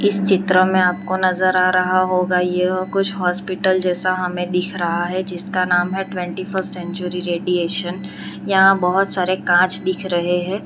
इस चित्र में आपको नजर आ रहा होगा यह कुछ हॉस्पिटल जैसा हमें दिख रहा है जिसका नाम है ट्वेंटी फर्स्ट सेंचुरी रेडिएशन यहां बहुत सारे कांच दिख रहे हैं।